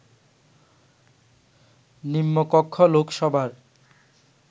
নিম্নকক্ষ লোকসভার